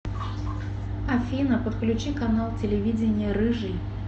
афина подключи канал телевидения рыжий